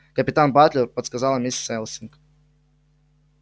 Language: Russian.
капитан батлер подсказала миссис элсинг